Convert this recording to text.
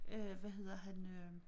Øh hvad hedder han øh